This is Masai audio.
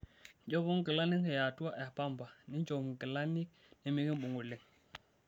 Nchopo nkilanik yaatua e pamba ninchop nkilanik nemikimbung' oleng'.